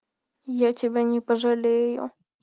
я тебя не пожалею